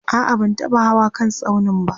a'a ban taba Hawa kan tsaunin ba